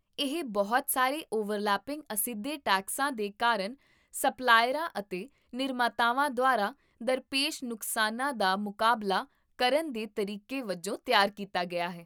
ਇਹ ਬਹੁਤ ਸਾਰੇ ਓਵਰਲੈਪਿੰਗ ਅਸਿੱਧੇ ਟੈਕਸਾਂ ਦੇ ਕਾਰਨ ਸਪਲਾਇਰਾਂ ਅਤੇ ਨਿਰਮਾਤਾਵਾਂ ਦੁਆਰਾ ਦਰਪੇਸ਼ ਨੁਕਸਾਨਾਂ ਦਾ ਮੁਕਾਬਲਾ ਕਰਨ ਦੇ ਤਰੀਕੇ ਵਜੋਂ ਤਿਆਰ ਕੀਤਾ ਗਿਆ ਸੀ